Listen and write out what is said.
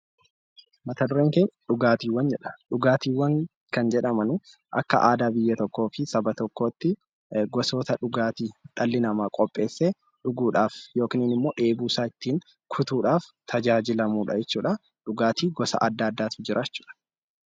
Dhugaatiiwwan kan jedhaman akka aadaa biyya tokkoo fi Saba tokkootti gosoota dhugaatii dhalli namaa qopheessee dhuguudhaaf yookiin immoo dheebuu isaa ittiin kutuudhaaf tajaajilamuudha. Dhugaatiinis gosa addaa addaatu jira.